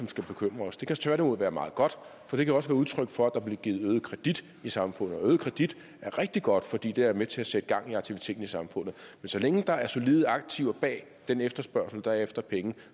skal bekymre os det kan tværtimod være meget godt for det kan også udtryk for at der bliver givet øget kredit i samfundet er øget kredit er rigtig godt for det er med til at sætte gang i aktiviteten i samfundet men så længe der er solide aktiver bag den efterspørgsel der er efter penge